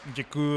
Děkuji.